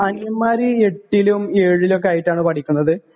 അനിയന്മാര് എട്ടിലും ഏഴിലും ഒക്കെയായിട്ടാണ് പഠിക്കുന്നത്.